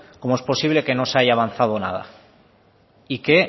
cómo es posible que no se haya avanzado nada y que